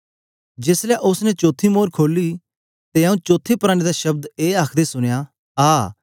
जेस ले उस्स ने चौथी मोर खोली ते आऊँ चौथे प्राणी दा शब्द ए आखदे सुनया आ